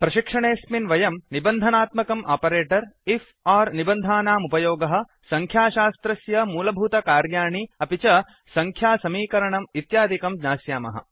प्रशिक्षणेऽस्मिन् वयं निबन्धनात्मकम् operator conditional operator IF or निर्बन्धानामुपयोगः संख्याशास्त्रस्य मूलभूतकार्याणि अपि च संख्यासमीकरणम् इत्यादिकं ज्ञास्यामः